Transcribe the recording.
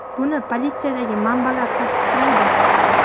Buni politsiyadagi manbalar tasdiqlaydi.